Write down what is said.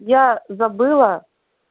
я забыла